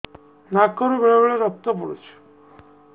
ନାକରୁ ବେଳେ ବେଳେ ରକ୍ତ ପଡୁଛି